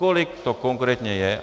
Kolik to konkrétně je.